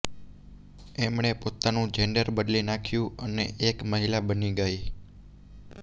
એમણે પોતાનું જેન્ડર બદલી નાખ્યું અને એક મહિલા બની ગઈ